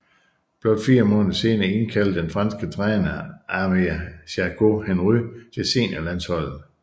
Blot fire måneder senere indkaldte den franske træner Aimé Jacquet Henry til seniorlandsholdet